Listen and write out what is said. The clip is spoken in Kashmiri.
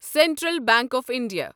central bank of India